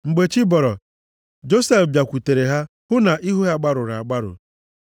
Mgbe chi bọrọ, Josef bịakwutere ha hụ na ihu ha gbarụrụ agbarụ.